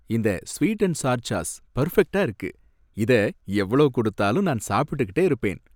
இந்த sweet and sour sauce பெர்ஃபெக்டா இருக்கு, இத எவ்ளோ குடுத்தாலும் நான் சாப்பிட்டுக்கிட்டே இருப்பேன்.